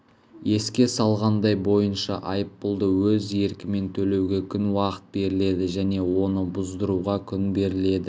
еске салғандай бойынша айыппұлды өз еркімен төлеуге күн уақыт беріледі және оны бұздыруға күн беріледі